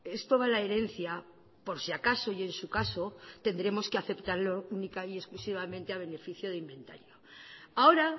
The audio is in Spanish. es toda la herencia por si acaso y en su caso tendremos que aceptarlo única y exclusivamente a beneficio de inventario ahora